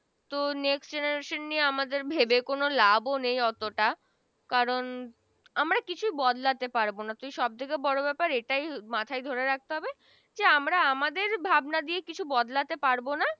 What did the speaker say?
তো Next Generation নিয়ে আমাদের ভেবে কোন লাভ ও নেই ওতটা কারন আমরা কিছু বদলাতে পারবো না সব থেকে বড় কথা ব্যাপার এটাই মাথায় ধরে রাখতে হবে যে আমরা আমাদের ভাবনা দিয়ে কিছু বদলাতে পারবো না